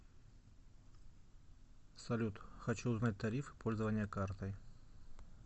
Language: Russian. салют хочу узнать тарифы пользования картой